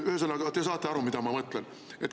Ühesõnaga, te saate aru, mida ma mõtlen.